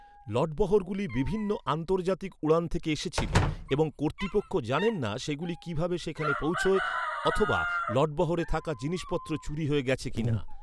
লটবহরগুলি বিভিন্ন আন্তর্জাতিক উড়ান থেকে এসেছিল এবং কর্তৃপক্ষ জানেন না, সেগুলি কীভাবে সেখানে পৌঁছয় অথবা লটবহরে থাকা জিনিসপত্র চুরি হয়ে গেছে কি না।